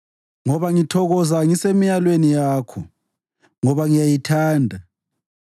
ngoba ngithokoza ngisemilayweni yakho ngoba ngiyayithanda.